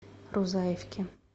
рузаевке